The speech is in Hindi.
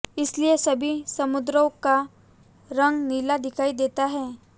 इसलिए सभी समुद्रों का रंग नीला दिखाई देता है